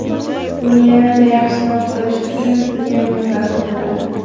Buni yanada yaxshiroq qilish uchun sizga nima zarur bo‘ladi?